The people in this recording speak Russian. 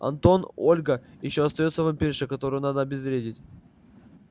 антон ольга ещё остаётся вампирша которую надо обезвредить